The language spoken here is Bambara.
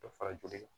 Dɔ fara joli kan